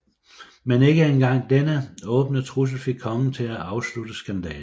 Men ikke en gang denne åbne trussel fik kongen til at afslutte skandalen